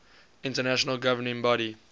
international governing body